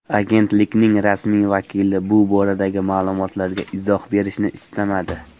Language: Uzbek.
Agentlikning rasmiy vakili bu boradagi ma’lumotlarga izoh berishni istamadi.